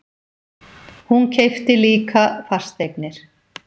Hún keypti líka fasteignir.